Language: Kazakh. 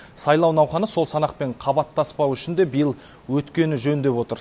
сайлау науқаны сол санақпен қабаттаспау үшін де биыл өткені жөн деп отыр